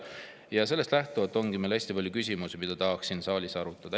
Ja sellest lähtuvalt ongi meil hästi palju küsimusi, mida tahaks siin saalis arutada.